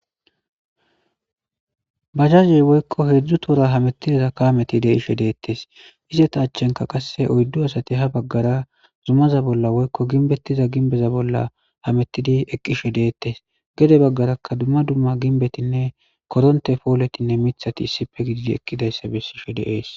Bajjajey woykko heedzdzu toora hamettidiza kaameti de'ishshe deettes izeta achchenka qasse oyddu asati ha baggara zumaza bolla woykko ginbettiza ginbeza bolla hamettidi eqqishe deettes gede baggaraka dumma dumma ginbetinne koronte pooletinne miiththati issife gidi ekkidayssa bessishe de'ees